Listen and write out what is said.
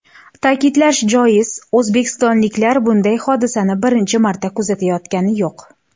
Ta’kidlash joiz, o‘zbekistonliklar bunday hodisani birinchi marta kuzatayotgani yo‘q .